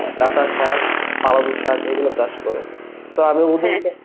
data শাক, পালং শাক এইগুলো চাষ করে, তো আমি